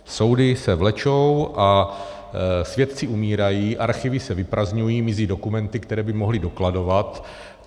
Soudy se vlečou a svědci umírají, archivy se vyprazdňují, mizí dokumenty, které by mohly dokladovat.